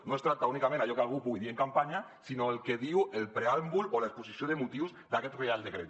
no es tracta únicament d’allò que algú pugui dir en campanya sinó del que diu el preàmbul o l’exposició de motius d’aquest reial decret